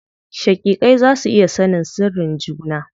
Shaƙiƙai za su iya sanin sirrin juna.